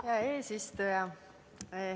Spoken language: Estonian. Hea eesistuja!